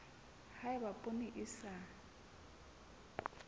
ha eba poone e sa